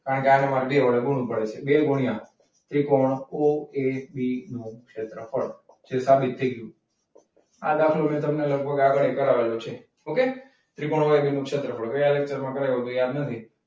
કારણ કે આગળ મારે બે વડે ગુણવું પડે છે. બે ગુણ્યા ત્રિકોણ ઓ એ બી નું ક્ષેત્રફળ. જે સાબિત થઈ ગયું. આ દાખલો મેં લગભગ તમને આગળી કરેલું છે. okay ત્રિકોણ ઓ એ બી નું ક્ષેત્રફળ ગયા ચેપ્ટરમાં કરાવ્યું હતું યાદ નથી.